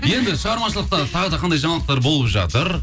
енді шығармашылықта тағы да қандай жаңалықтар болып жатыр